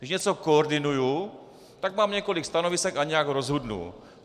Když něco koordinuji, tak mám několik stanovisek a nějak rozhodnu.